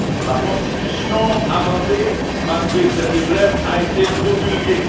la Constitution amendée, malgré ses faiblesses, a été promulguée